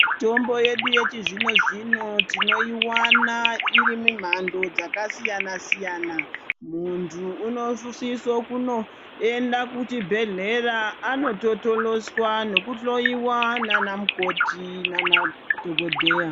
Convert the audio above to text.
Mitombo yedu yechizvino-zvino tinoiwana iri mimhando dzakasiyana-siyana. Munthu unosiso kunoenda kuchibhedhlera anototoloswa nokuhloyiwa naana mukoti naana dhogodheya.